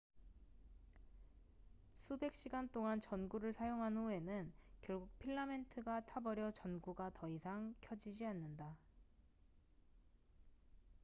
수백 시간 동안 전구를 사용한 후에는 결국 필라멘트가 타버려 전구가 더 이상 켜지지 않는다